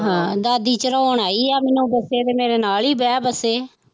ਹਾਂ ਦਾਦੀ ਚੜ੍ਹਾਉਣ ਆਈ ਆ ਮੈਨੂੰ ਬੱਸੇ ਤੇ ਮੇਰੇ ਨਾਲ ਹੀ ਬਹਿ ਬੱਸੇ